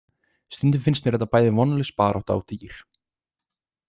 Stundum finnst mér þetta bæði vonlaus barátta og dýr.